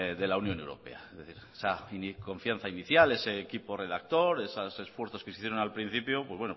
de la unión europea es decir esa confianza inicial ese equipo redactor esos esfuerzos que se hicieron al principio